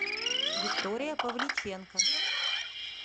виктория павличенко